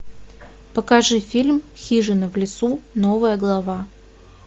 покажи фильм хижина в лесу новая глава